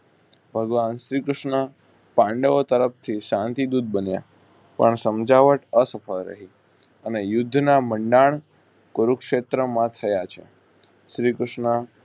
ભાગવાન શ્રી કૃષ્ણ પાંડવો તરફથી શાંતિ દૂત બન્યા પણ સમજાવટ અફળ રહી અને યુદ્ધ ના મંડાણ કુરુક્ષેત્ર માં થયા છે. શ્રી કૃષ્ણ